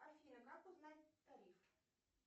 афина как узнать тариф